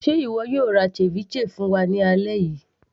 ṣe ìwọ yóò ra ceviche fún wa ní alẹ́ yìí